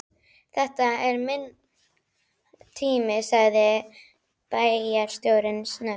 Þetta er minn tími sagði bæjarstjórinn snöggt.